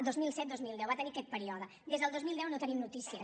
dos mil set dos mil deu va tenir aquest període des del dos mil deu no en tenim notícies